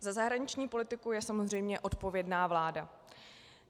Za zahraniční politiku je samozřejmě odpovědná vláda.